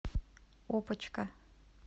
опочка